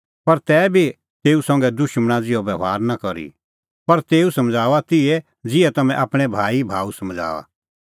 पर तैबी निं तेऊ संघै दुशमणा ज़िहअ बभार करी पर तेऊ समझ़ाऊआ तिहै ज़िहै तम्हैं आपणैं भाईभाऊ समझ़ाऊअ